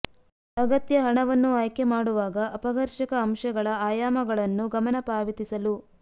ಅಗತ್ಯ ಹಣವನ್ನು ಆಯ್ಕೆ ಮಾಡುವಾಗ ಅಪಘರ್ಷಕ ಅಂಶಗಳ ಆಯಾಮಗಳನ್ನು ಗಮನ ಪಾವತಿಸಲು